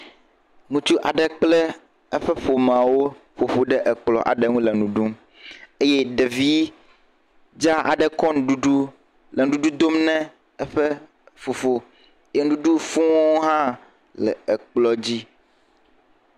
Ŋutsu aɖe kple eƒe ƒomeawo ƒo ƒu ɖe ekplɔ aɖe ŋu le nu ɖum eye ɖevi dzaa aɖe kɔ nuɖuɖu le nuɖuɖu dom ne eƒe fofo, ye nuɖuɖu fuuwo hã le ekplɔ dzi.